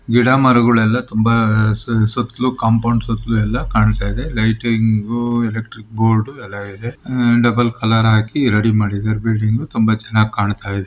ಗಿಡ ಮರಗುಳೆಲ್ಲ ತುಂಬಾ ಸು-ಸುತ್ಲೂ ಕಾಪೌಂಡ್ ಸುತ್ಲೂ ಎಲ್ಲಾ ಕಾಣ್ತಾ ಇದೆ ಲೈಟಿಂಗ್ ಎಲೆಕ್ಟ್ರಿಕ್ ಬೋರ್ಡ್ ಎಲ್ಲಾ ಇದೆ. ಉಹ್ ಡಬಲ್ ಕಲರ್ ಹಾಕಿ ರೆಡಿ ಮಾಡಿದ್ದಾರೆ ಬಿಲ್ಡಿಂಗ್ ತುಂಬಾ ಚೆನ್ನಾಗ್ ಕಾಣ್ತಾ ಇದೆ.